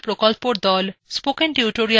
spoken tutorial প্রকল্পর the